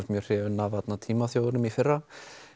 mjög hrifinn af Tímaþjófinum í fyrra